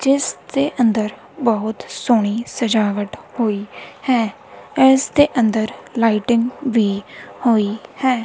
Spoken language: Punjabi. ਜਿਸ ਦੇ ਅੰਦਰ ਬਹੁਤ ਸੋਹਣੀ ਸਜਾਵਟ ਹੋਈ ਹੈ ਇਸ ਦੇ ਅੰਦਰ ਲਾਈਟਿੰਗ ਵੀ ਹੋਈ ਹੈ।